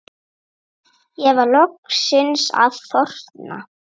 Ég var loksins að þorna